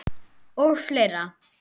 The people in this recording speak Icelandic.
Og fleira.